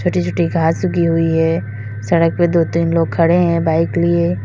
छोटी छोटी घास उगी हुई है सड़क पर दो तीन लोग खड़े हैं बाइक लिए।